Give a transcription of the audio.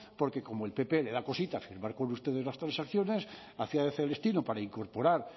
porque como al pp le da cosita firmar con ustedes las transacciones hacía de celestino para incorporar